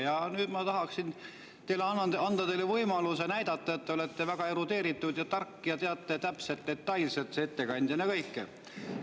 Ja nüüd ma tahaksin anda teile võimaluse näidata, et te olete väga erudeeritud ja tark ja teate ettekandjana täpselt, detailselt kõike.